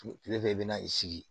Kile fɛ i bɛna i sigi